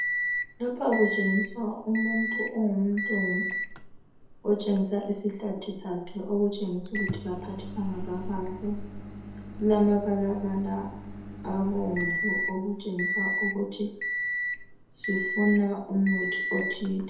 Lapha kutshengisa umuntu ongumlungu, otshengisa isihlathi sakhe okutshengisa ukuthi kaphathekanga kakahle . Silamabalabala abomvu okutshengisa ukuthi sifuna umuthi othile.